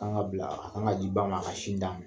An ka bila, a kan ka di ba ma a ka sin d'a ma.